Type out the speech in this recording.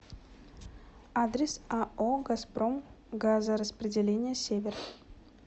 адрес ао газпром газораспределение север